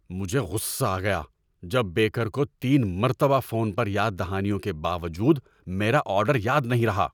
مجھے غصہ آ گیا جب بیکر کو تین مرتبہ فون پر یاد دہانیوں کے باوجود میرا آرڈر یاد نہیں رہا۔